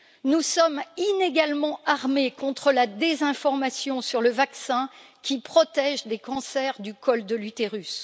Nous sommes inégalement armés contre la désinformation sur le vaccin qui protège des cancers du col de l'utérus.